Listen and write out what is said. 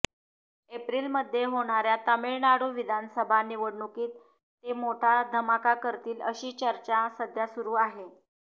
एप्रिलमध्ये होणाऱ्या तमिळनाडू विधानसभा निवडणुकीत ते मोठा धमाका करतील अशी चर्चा सध्या सुरु आहे